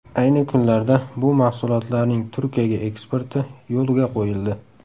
Ayni kunlarda bu mahsulotlarning Turkiyaga eksporti yo‘lga qo‘yildi.